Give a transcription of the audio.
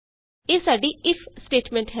ਇਹ ਸਾਡੀ if statement ਹੈ